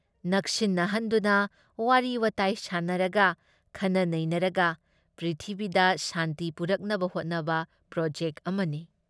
ꯅꯛꯁꯤꯟꯅꯍꯟꯗꯨꯅ ꯋꯥꯔꯤ ꯋꯥꯇꯥꯏ ꯁꯥꯟꯅꯔꯒ, ꯈꯟꯅ ꯅꯩꯅꯔꯒ ꯄ꯭ꯔꯤꯊꯤꯕꯤꯗ ꯁꯥꯟꯇꯤ ꯄꯨꯔꯛꯅꯕ ꯍꯣꯠꯅꯕ ꯄ꯭ꯔꯣꯖꯦꯛꯠ ꯑꯃꯅꯤ ꯫